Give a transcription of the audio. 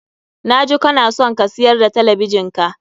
Na ji kana son ka siyar da talabijin ka.